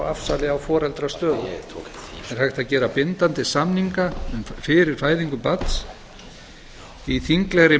afsali á foreldrastöðu er hægt að gera bindandi samninga fyrir fæðingu barns í þinglegri